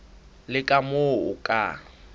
le ka moo o ka